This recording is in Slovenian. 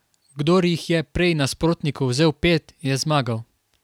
Kdor jih je prej nasprotniku vzel pet, je zmagal.